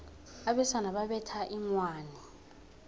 abesana babetha inghwani